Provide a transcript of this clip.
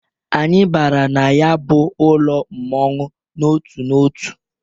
Anyị bara na ya bụ ụlọ mmọnwụ n'otu n'otu.